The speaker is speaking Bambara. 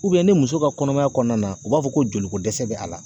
ni muso ka kɔnɔmaya kɔɔna na u b'a fɔ ko joli ko dɛsɛ bɛ a la.